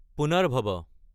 পুনৰ্ভাবা